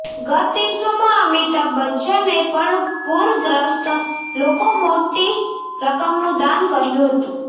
ગત દિવસોમાં અમિતાભ બચ્ચને પણ પૂરગ્રસ્ત લોકો મોટી રકમનું દાન કર્યું હતું